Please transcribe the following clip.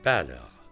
Bəli, ağa.